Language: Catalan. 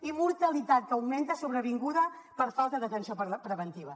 i mortalitat que augmenta sobrevinguda per falta d’atenció preventiva